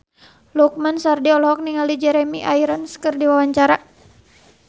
Lukman Sardi olohok ningali Jeremy Irons keur diwawancara